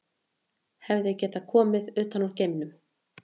Hefði það getað komið utan úr geimnum?